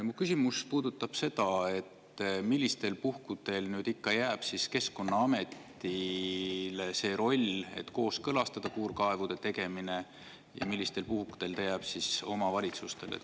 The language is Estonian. Mu küsimus puudutab seda, millistel puhkudel jääb Keskkonnaametile see roll, et kooskõlastada puurkaevude tegemine, ja millistel puhkudel jääb see omavalitsustele.